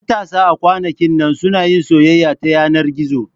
Matasa a kwanakin nan suna yin soyayya ta yanar gizo.